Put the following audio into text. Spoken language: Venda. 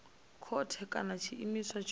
khothe kana nga tshiimiswa tsho